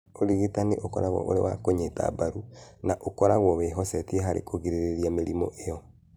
Ũrigitani ũkoragwo ũrĩ wa kũnyita mbaru na ũkoragwo wĩhocetie harĩ kũgirĩrĩria mĩrimũ ĩyo.